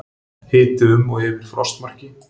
Hiti um og yfir frostmarki